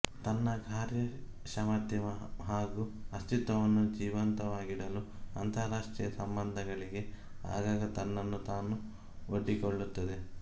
ತನ್ನ ಕಾರ್ಯಕ್ಷಮತೆ ಹಾಗು ಅಸ್ತಿತ್ವವನ್ನು ಜೀವಂತವಾಗಿಡಲು ಅಂತಾರಾಷ್ಟ್ರೀಯ ಸಂಬಂಧಗಳಿಗೆ ಆಗಾಗ ತನ್ನನ್ನು ತಾನು ಒಡ್ಡಿಕೊಳ್ಳುತ್ತದೆ